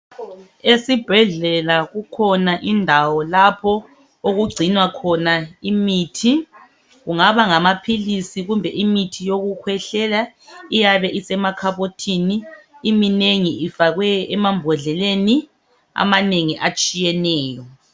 Esibhedlela kukhona indawo lapho okugcinwa khona imithi. Kungaba ngamaphilisi kumbe imithi yokukhwehlela iyabe isemakhabothini iminengi ifakwe emambodleleni amanengi atshiyeneyo.